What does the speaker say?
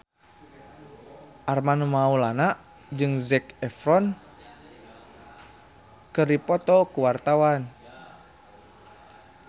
Armand Maulana jeung Zac Efron keur dipoto ku wartawan